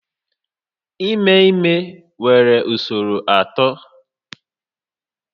Ime ime nwere usoro atọ